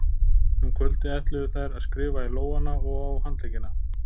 Um kvöldið ætluðu þær að skrifa í lófana og á handleggina.